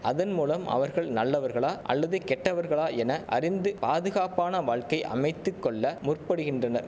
அதன் மூலம் அவர்கள் நல்லவர்களா அல்லது கெட்டவர்களா என அறிந்து பாதுகாப்பான வாழ்க்கை அமைத்து கொள்ள முற்படுகின்றனர்